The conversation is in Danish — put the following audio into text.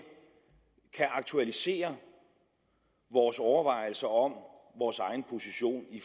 kan aktualisere vores overvejelser om vores egen position i